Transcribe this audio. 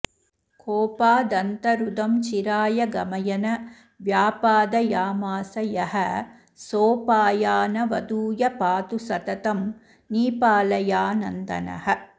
कोपादन्तरुदं चिराय गमयन व्यापादयामास यः सोऽपायानवधूय पातु सततं नीपालयानन्दनः